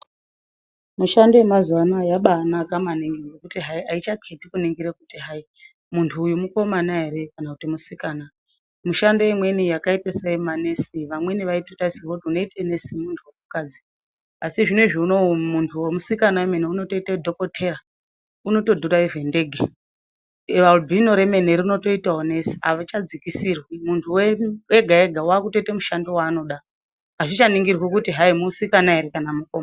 Mishando yemazuwano yabanaka maningi ngekuti hai aichaketi kuningire kuti hai muntu uyu mukomana ere kana kuti musikana mishando imweni yakaite seye manesi vamweni vaitotarisirwa kuti unoite nesi muntu wemukadzi asi zvinezvi unowu muntu wemusikana wemene unotoite dhokoteya, unotodhuraivhe ndege, aubhino remene rinoitawo nesi avachadzikisirwi , muntu wega wega wakutoite mushando waanoda azvichaningirwi kuti hai musikana ere kana mukomana.